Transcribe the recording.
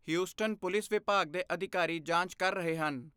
Houston police ਵਿਭਾਗ ਦੇ ਅਧਿਕਾਰੀ ਜਾਂਚ ਕਰ ਰਹੇ ਹਨ।